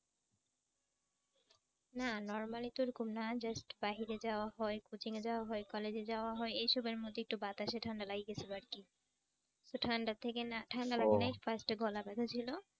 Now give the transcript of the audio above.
না normally তো এরকম না just বাহিরে যাওয়া হয়, coaching এ যাওয়া হয়, college এ যাওয়া হয়। এইসবের মধ্যে একটু বাতাসে ঠান্ডা লাগি গেছিল আর কি। তো ঠান্ডার থেকে না ঠান্ডা লাগে নাই first এ গলা ব্যাথা ছিল।